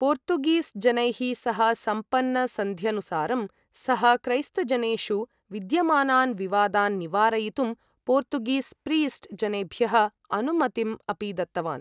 Portuguese जनैः सह सम्पन्नसन्ध्यनुसारं, सः क्रैस्तजनेषु विद्यमानान् विवादान् निवारयितुम् पोर्तुगीस् प्रीस्ट् जनेभ्यः अनुमतिम् अपि दत्तवान्।